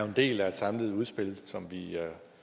en del af et samlet udspil som vi